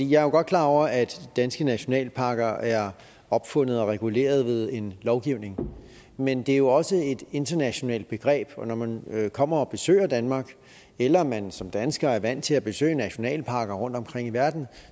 jo godt klar over at de danske nationalparker er opfundet og reguleret ved en lovgivning men det er jo også et internationalt begreb og når man kommer og besøger danmark eller man som dansker er vant til at besøge nationalparker rundtomkring i verden